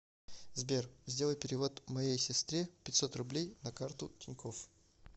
сбер сделай перевод моей сестре пятьсот рублей на карту тинькофф